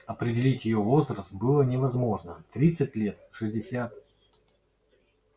определить её возраст было невозможно тридцать лет шестьдесят